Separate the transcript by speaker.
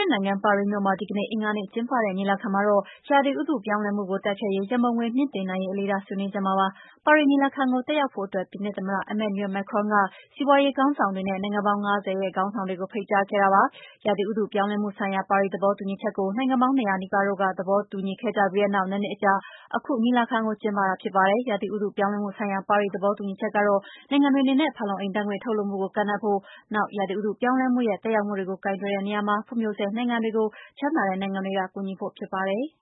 Speaker 1: င်သစ်နိုင်ငံ ပါရီမြို့မှာ ဒီကနေ့ အင်္ဂါနေ့ ကျင်းပတဲ့ ညီလာခံမှာတော့ ရာသီဥတု ပြောင်းလဲမှုကို တိုက်ဖျက်ရေး ရံပုံငွေ မြှင့်တင်နိုင်ရေး အလေးထား ဆွေးနွေးကြမှာပါ။ ပါရီ ညီလာခံကို တက်ရောက်ဖို့ အတွက် ပြင်သစ် သမ္မတ Emmanuel Macron က စီးပွားရေး ခေါင်းဆောင်တွေနဲ့ နိုင်ငံပေါင်း ၅၀ ရဲ့ ခေါင်းဆောင်တွေကို ဖိတ်ကြားခဲ့တာပါ။ ရာသီဥတု ပြောင်းလဲမှုဆိုင်ရာ ပါရီ သဘောတူညီချက်ကို နိုင်ငံပေါင်း ၂၀၀ နီးပါးတို့ သဘောတူညီခဲ့ကြပြီးနောက် ၂ နှစ် အကြာမှာ အခု ညီလာခံကို ကျင်းပတာ ဖြစ်ပါတယ်။ ရာသီဥတု ပြောင်းလဲမှုဆိုင်ရာ ပါရီ သဘောတူညီချက်ကတော့ နိုင်ငံတွေ အနေနဲ့ ဖန်လုံအိမ်ဓာတ်ငွေ့ ထုတ်လွှတ်မှုကို ကန့်သတ်ဖို့၊ နောက် ရာသီဥတု ပြောင်းလဲမှုရဲ့ သက်ရောက်မှုတွေကို ကိုင်တွယ်တဲ့ နေရာမှာ ဖွံ့ဖြိုးဆဲ နိုင်ငံတွေကို ချမ်းသာတဲ့ နိုင်ငံတွေက ကူညီဖို့ ဖြစ်ပါတယ်။